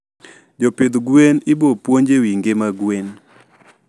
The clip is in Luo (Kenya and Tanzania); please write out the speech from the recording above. Jopdh gwen ibopuonj ewii ngima gwen